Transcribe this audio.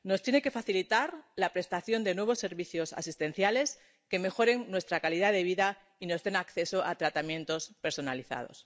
Nos tiene que facilitar la prestación de nuevos servicios asistenciales que mejoren nuestra calidad de vida y nos den acceso a tratamientos personalizados.